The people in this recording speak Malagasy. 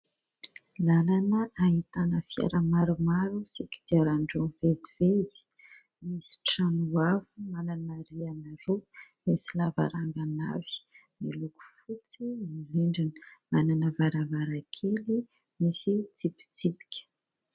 Lalana ahitana fiara maromaro sy kodiaran-droa mivezivezy, misy trano avo manana rihana roa, misy lavarangana avy, miloko fotsy ny rindrina, manana varavarankely misy tsipitsipika.